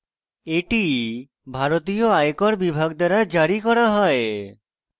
এটি ভারতীয় আয়কর বিভাগ দ্বারা জারি করা হয়